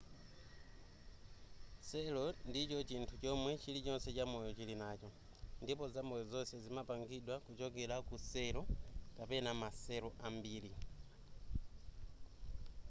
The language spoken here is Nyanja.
cell ndicho chinthu chomwe chilichonse chamoyo chili nacho ndipo zamoyo zonse zimapangidwa kuchokera ku cell kapena ma cell ambiri